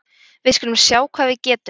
Við skulum sjá hvað við getum